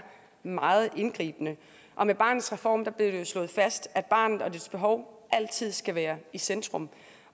meget indgribende med barnets reform blev det slået fast at barnet og dets behov altid skal være i centrum